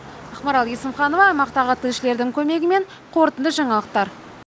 ақмарал есімханова аймақтағы тілшілердің көмегімен қорытынды жаңалықтар